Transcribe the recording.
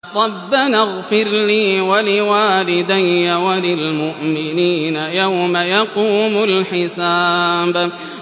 رَبَّنَا اغْفِرْ لِي وَلِوَالِدَيَّ وَلِلْمُؤْمِنِينَ يَوْمَ يَقُومُ الْحِسَابُ